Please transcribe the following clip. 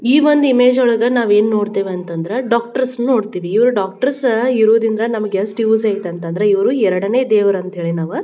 ಈ ವೊಂದ್ ಇಮೇಜ್ ನೊಲ್ಗ ನಾವೇನ್ ನೋಡ್ತಿವಿ ಅಂದ್ರೆ ಡಾಕ್ಟ್ರ್ಸ್ ನೋಡ್ತಿವಿ ಇವ್ರ್ ಡಾಕ್ಟ್ರ್ಸ್ ಇವ್ರ್ ಇದ್ರೆ ನಮ್ಗ್ ಯೆಸ್ಟ್ ಯೂಸ್ ಇದೆ ಅಂತಂದ್ರೆ ಇವ್ರ್ ಎರೆಡನೆ ದೇವ್ರ್ ಅಂತಂತ ನಾವ್.